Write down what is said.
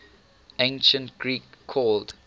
ancient greek called